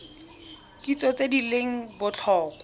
kitso tse di leng botlhokwa